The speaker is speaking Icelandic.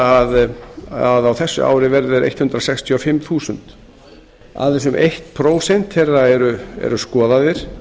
ætla að á þessu ári verði þeir hundrað sextíu og fimm þúsund aðeins um eitt prósent þeirra eru skoðaðir